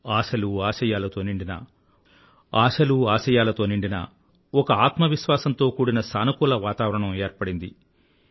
ఆశలు ఆశయాలతో నిండిన ఒక ఆత్మవిశ్వాసంతో కూడిన సానుకూల వాతావరణం ఏర్పడింది